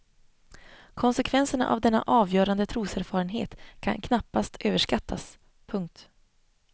Konsekvenserna av denna avgörande troserfarenhet kan knappast överskattas. punkt